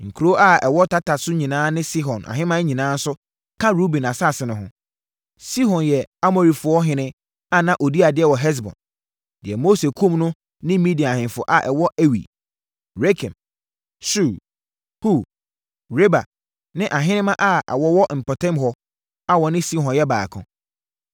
Nkuro a ɛwɔ tata so nyinaa ne Sihon ahemman nyinaa nso ka Ruben asase no ho. Sihon yɛ Amorifoɔhene a na ɔdi adeɛ wɔ Hesbon, deɛ Mose kumm no ne Midian ahemfo a wɔn ne Ewi, Rekem, Sur, Hur, Reba ne ahenemma a wɔwɔ mpɔtam hɔ a wɔne Sihon yɛ baako.